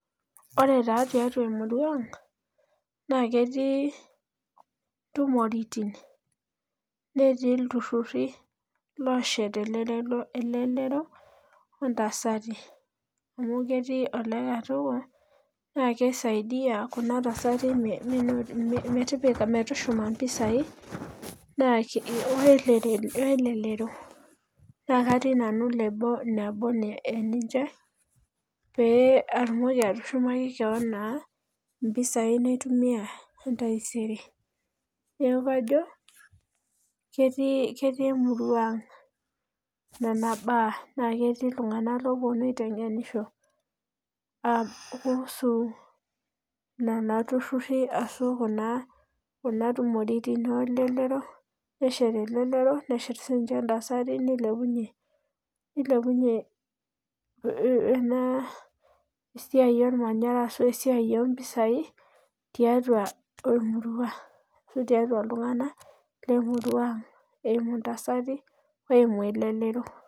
ore taa tiatua emurua na ketii ntumoitin naaashet elelero, ontasati, amu ketii olekatoko, naa kisaidia kuna tasati metushuma mpisai, we lelero, naa katii nanu nebo eninche pee etumoki atushumaki kewon naa mpisai naitumia taisere, neeku kajo, ketii emurua ang nena baa. naa ketii itunganak laa kepuonu aitengenisho kuusu, nena tururi ashu kuna tumoritin. oolelero neshet elelero neshet sii ninye ntasati, nilepunye, nilepunye ena siai olmanyara ashu esiai oo mpisai tiatua emurua asu tiatua iltungnak, le murua eimu ntasati neimu elelro.